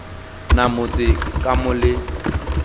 na motse ka mo le